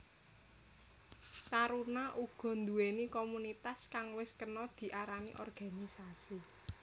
Taruna uga nduweni komunitas kang wis kena diarani organisasi